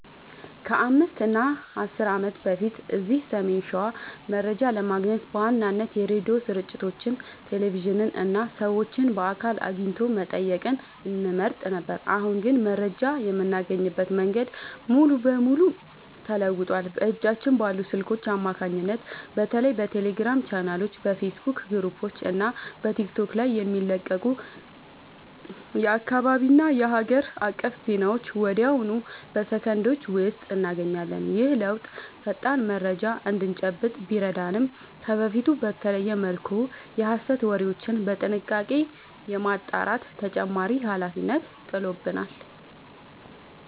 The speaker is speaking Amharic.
ከ5 እና 10 ዓመት በፊት እዚህ ሰሜን ሸዋ መረጃ ለማግኘት በዋናነት የሬዲዮ ስርጭቶችን፣ ቴሌቪዥንን እና ሰዎችን በአካል አግኝቶ መጠየቅን እንመርጥ ነበር። አሁን ግን መረጃ የምናገኝበት መንገድ ሙሉ በሙሉ ተለውጧል። በእጃችን ባሉ ስልኮች አማካኝነት በተለይ በቴሌግራም ቻናሎች፣ በፌስቡክ ግሩፖች እና በቲክቶክ ላይ የሚለቀቁ የአካባቢና የሀገር አቀፍ ዜናዎችን ወዲያውኑ በሰከንዶች ውስጥ እናገኛለን። ይህ ለውጥ ፈጣን መረጃ እንድንጨብጥ ቢረዳንም፣ ከበፊቱ በተለየ መልኩ የሐሰት ወሬዎችን በጥንቃቄ የማጣራት ተጨማሪ ኃላፊነት ጥሎብናል።